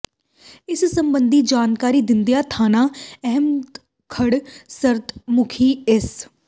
ਇਸ ਸਬੰਧੀ ਜਾਣਕਾਰੀ ਦਿੰਦਿਆਂ ਥਾਣਾ ਅਹਿਮਦਗੜ੍ਹ ਸਦਰ ਮੁਖੀ ਇੰਸ